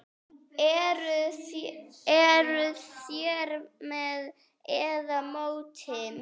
Eruð þér með eða móti?